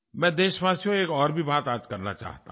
मैं देशवासियों एक और भी बात आज करना चाहता हूँ